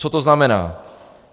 Co to znamená?